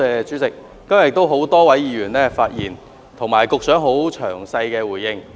主席，今天有多位議員發言，局長亦作出詳細回應。